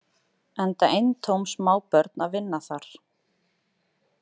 Enda eintóm smábörn að vinna þar.